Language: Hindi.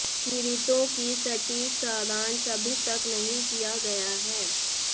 पीड़ितों की सटीक सारांश अभी तक नहीं किया गया है